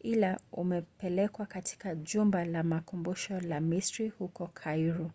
ila umepelekwa katika jumba la makumbusho la misri huko kairo